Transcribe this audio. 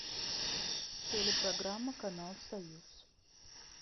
телепрограмма канал союз